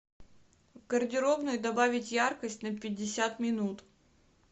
в гардеробной добавить яркость на пятьдесят минут